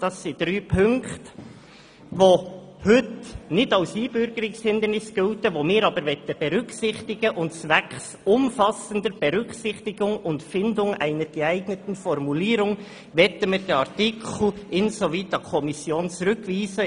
Dies sind drei Punkte, welche heute nicht als Einbürgerungshindernis gelten, welche wir aber berücksichtigen möchten, und zwecks umfassender Berücksichtigung und Findung einer geeigneten Formulierung möchten wir diesen Artikel insoweit an die Kommission zurückweisen.